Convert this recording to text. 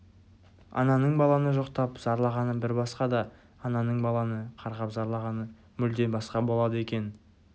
ананың баланы жоқтап зарлағаны бір басқа да ананың баланы қарғап зарлағаны мүлде басқа болады екен